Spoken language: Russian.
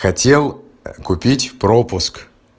хотел купить пропуск